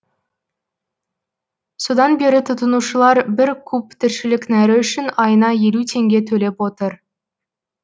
содан бері тұтынушылар бір куб тіршілік нәрі үшін айына елу теңге төлеп отыр